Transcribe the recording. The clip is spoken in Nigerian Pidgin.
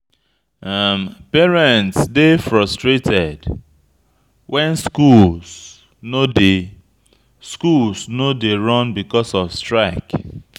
Parents dey frustrated wen schools no dey schools no dey run because of strike.